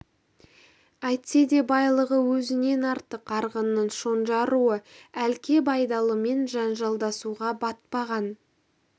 әйтсе де байлығы өзінен артық арғынның шонжар руы әлке байдалымен жанжалдасуға батпаған